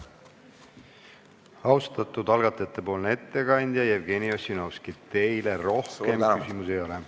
Austatud algatajate ettekandja Jevgeni Ossinovski, teile rohkem küsimusi ei ole.